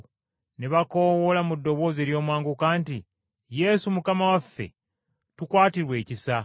ne bakoowoola mu ddoboozi ery’omwanguka nti, “Yesu, Mukama waffe, tukwatirwe ekisa!”